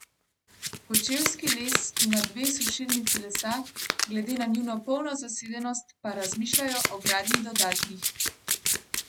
Kočevski les ima dve sušilnici lesa, glede na njuno polno zasedenost pa razmišljajo o gradnji dodatnih.